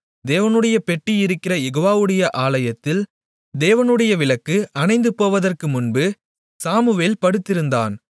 தேவனுடைய பெட்டி இருக்கிற யெகோவாவுடைய ஆலயத்தில் தேவனுடைய விளக்கு அணைந்துபோவதற்கு முன்பு சாமுவேல் படுத்திருந்தான்